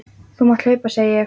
Þú mátt hlaupa, segi ég.